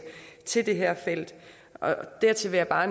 til det her felt dertil vil jeg bare